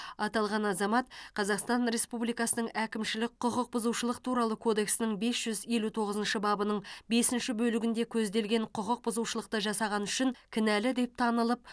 аталған азамат қазақстан республикасының әкімшілік құқық бұзушылық туралы кодексінің бес жүз елу тоғызыншы бабының бесінші бөлігінде көзделген құқық бұзушылықты жасағаны үшін кінәлі деп танылып